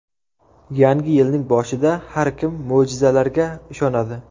Yangi yilning boshida har kim mo‘jizalarga ishonadi.